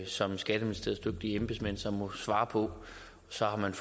som skatteministeriets dygtige embedsmænd så må svare på så har man